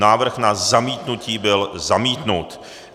Návrh na zamítnutí byl zamítnut.